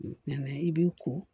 i b'i ko